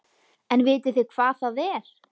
En vitið þið hvað það er?